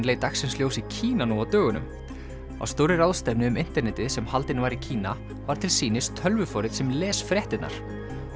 leit dagsins ljós í Kína nú á dögunum á stórri ráðstefnu um internetið sem haldin var í Kína var til sýnis tölvuforrit sem les fréttirnar